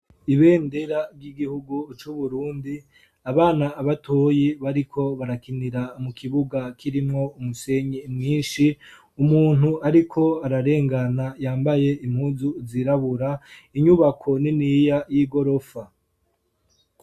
Ibendera ry'igihugu c'uburundi, abana abatoyi bariko barakinira mu kibuga k'irimwo umusenyi mwinshi umuntu ariko ararengana yambaye impunzu zirabura inyubako niniya y'igorofa.